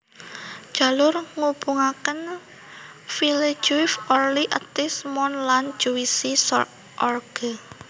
Jalur ngubungakenVillejuif Orly Athis Mons lan Juvisy sur Orge